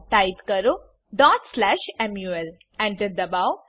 type કરો mul Enter દબાવો